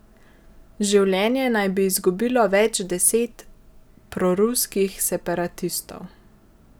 Življenje naj bi izgubilo več deset proruskih separatistov.